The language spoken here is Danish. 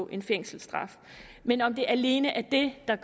en fængselsstraf men om det alene er det der